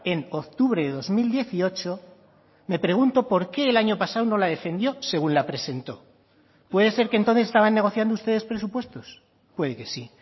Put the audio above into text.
en octubre de dos mil dieciocho me pregunto por qué el año pasado no la defendió según la presentó puede ser que entonces estaban negociando ustedes presupuestos puede que sí